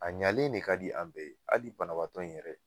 A ɲalen de ka di an bɛɛ hali banabaatɔ in yɛrɛ